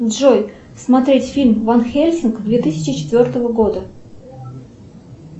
джой смотреть фильм ван хельсинг две тысячи четвертого года